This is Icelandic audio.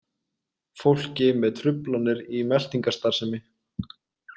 Fólki með truflanir í meltingarstarfsemi.